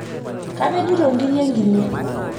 Kapejito inkirri enkine.